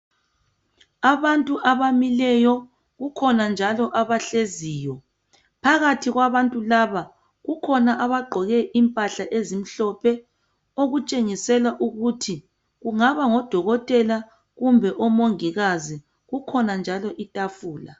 Abantu abamileyo kukhona njalo abahleziyo. Phakathi kwabantu laba kukhona abagqoke impahla ezimhlophe okutshengisela ukuthi kungaba ngodokotela kumbe omongikazi. Kukhona njalo itafula.